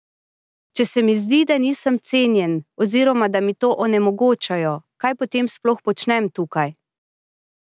Če se mi zdi, da nisem cenjen oziroma da mi to onemogočajo, kaj potem sploh počnem tukaj?